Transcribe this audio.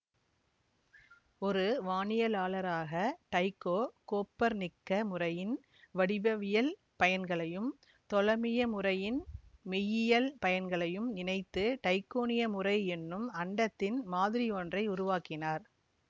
ஒரு வானியலாளராக டைக்கோ கோப்பர்நிக்க முறையின் வடிவவியல் பயன்களையும் தொலமிய முறையின் மெய்யியல் பயன்களையும் இணைத்து டைக்கோனிய முறை என்னும் அண்டத்தின் மாதிரியொன்றை உருவாக்கினார்